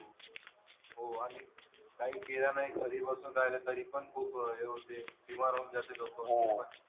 हो आणि काही केलं नाही घरी बसून राहिलं तरी पण खूप हे होते बिमार होऊन जाते लोकं.